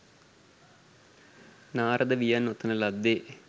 නාරද වියන් ඔතන ලද්දේ